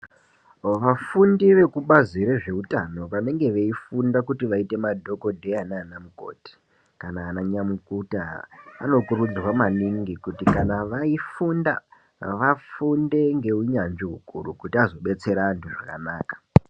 Vafundi vekubazi rezveutano vanenge veifunda kuti vaite madhokodheya naanamukoti kana ananyamukuta anokurudzirwa maningi kuti kana vaifunda vafunde ngeunyanzvi ukuru kuti vazodetsera vantu zvakanaka.